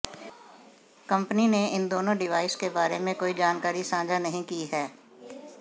company ने इन दोनों डिवाइस के बारे में कोई जानकारी साझा नहीं की है